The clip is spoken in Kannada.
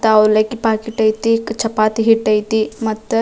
ತಾ ಅವಲಕ್ಕಿ ಪ್ಯಾಕಿಟ್ ಐತಿ ಚಪಾತಿ ಹಿಟ್ ಐತಿ ಮತ್ತ--